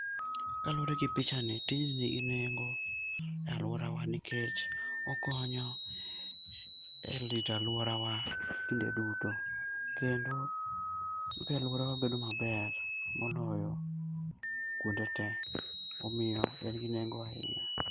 Kalure gi pichani tijni nigi nengo e aluorawa nikech okonyo e rito aluorawa kinde duto kendo oketo aluorawa bedo maber moloyo kuonde tee ,omiyo en gi nengo ahinya